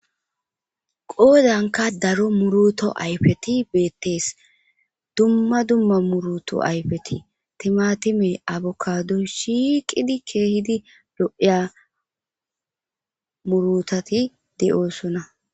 Koyrankka daro muroto ayfethi beeththees; dumma dumma muruto ayfeti:- thimaathimee,avocadoy shiiqidi keehidi lo7iya muruthathi de7oosona.